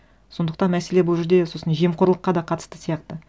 сондықтан мәселе бұл жерде сосын жемқорлыққа да қатысты сияқты